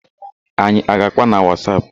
Anyị a ga-àkpá na Wasap?